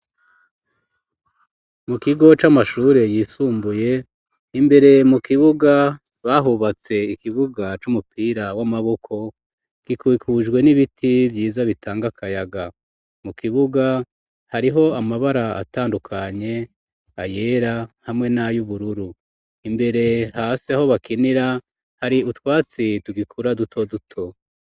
Mu kigo c'amashure yisumbuye, imbere mu kibuga, bahubatse ikibuga c'umupira w'amaboko; gikikujwe n'ibiti vyiza bitanga akayaga, mu kibuga hariho amabara atandukanye, ayera hamwe n'ay'ubururu; imbere hasi aho bakinira, hari utwatsi tugikura duto duto.